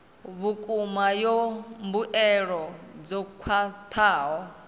vhukuma ya mbuelo dzo khwathaho